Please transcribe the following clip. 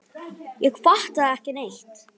Ég fattaði ekki neitt.